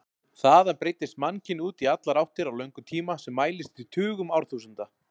Þaðan breiddist mannkynið út í allar áttir á löngum tíma sem mælist í tugum árþúsunda.